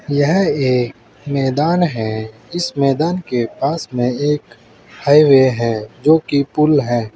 यह मैदान है इस मैदान के पास में एक हाईवे है जो कि पुल है।